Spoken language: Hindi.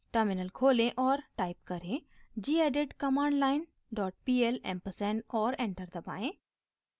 टर्मिनल खोलें और टाइप करें: gedit commandlinepl ampersand और एंटर दबाएं